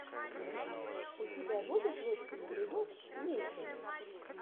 у тебя будет лучший эпизод фьюче